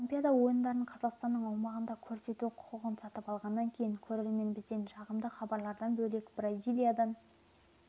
олимпиада ойындарын қазақстан аумағында көрсету құқығын сатып алғаннан кейін көрермен бізден жағымды хабарлардан бөлек бразилиядан